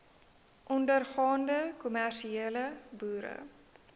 ondergaande kommersiële boere